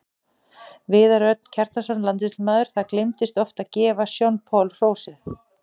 Viðar Örn Kjartansson, landsliðsmaður Það gleymist oft að gefa Sean Paul hrósið.